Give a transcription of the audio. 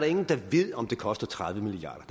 ingen der ved om det koster tredive milliard